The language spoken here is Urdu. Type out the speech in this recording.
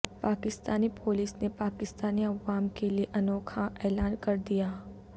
پاکستانی پولیس نے پاکستانی عوام کیلئے انوکھا اعلان کردیا